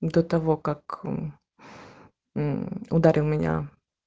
до того как мм ударил меня